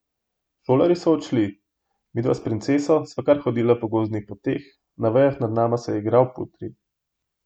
Šolarji so odšli, midva s Princeso sva kar hodila po gozdnih poteh, na vejah nad nama se je igrala Putri.